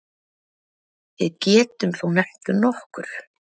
Við getum þó nefnt nokkur.